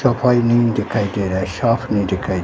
नहीं दिखाई दे रहा है साफ नहीं दिखाई--